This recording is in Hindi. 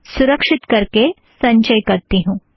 सुरक्षीत करके संचय करती हूँ